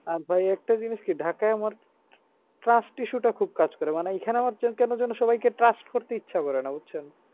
আর ভাই একটা জিনিস কি ঢাকাই আমার trust issue টা খুব কাজ করে মানে এইখানে আমার কেন যেন সবাইকে trust করতে ইচ্ছে করে না বুঝছেন?